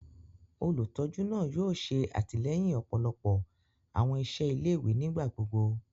Olutọju náà yóò ṣe atilẹyin ọpọlọpọ awọn iṣẹ ilé-ìwé nigbagbogbo.